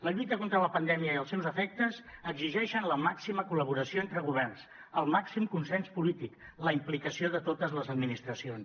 la lluita contra la pandèmia i els seus efectes exigeixen la màxima col·laboració entre governs el màxim consens polític la implicació de totes les administracions